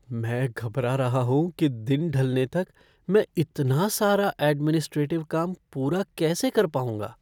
मैं घबरा रहा हूँ कि दिन ढलने तक मैं इतना सारा एडमिनिस्ट्रेटिव काम पूरा कैसे कर पाऊंगा।